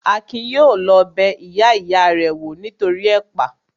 Akin yóò lọ bẹ ìyá ìya rẹ̀ wò nítoríi ẹ̀pà